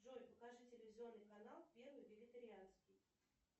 джой покажи телевизионный канал первый вегетарианский